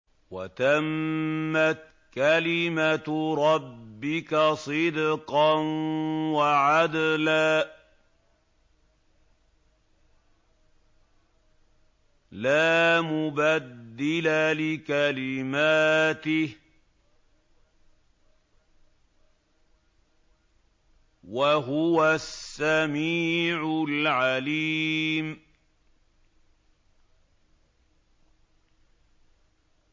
وَتَمَّتْ كَلِمَتُ رَبِّكَ صِدْقًا وَعَدْلًا ۚ لَّا مُبَدِّلَ لِكَلِمَاتِهِ ۚ وَهُوَ السَّمِيعُ الْعَلِيمُ